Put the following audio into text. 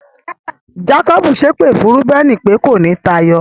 Jákọ́bù ṣépè fún Rúbẹ́nì pé, kò ní táyọ.